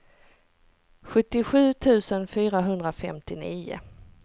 sjuttiosju tusen fyrahundrafemtionio